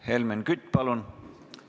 Helmen Kütt, palun!